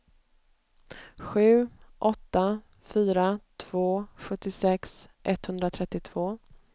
sju åtta fyra två sjuttiosex etthundratrettiotvå